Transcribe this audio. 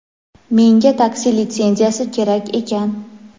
Menga taksi litsenziyasi kerak ekan.